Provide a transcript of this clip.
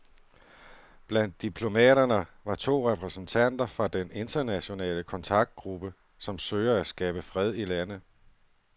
Blandt diplomaterne var to repræsentanter fra den internationale kontaktgruppe, som søger at skabe fred i landet.